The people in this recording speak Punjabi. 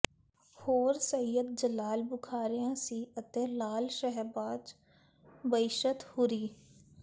ਹੋਰ ਸਈਅੱਦ ਜਲਾਲ ਬੁਖ਼ਾਰੀਆਂ ਸੀ ਅਤੇ ਲਾਅਲ ਸ਼ਹਿਬਾਜ਼ ਬਿਹਸ਼ਤ ਹੂਰੀ